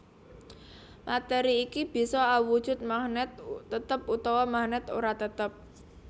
Matéri iki bisa awujud magnèt tetep utawa magnèt ora tetep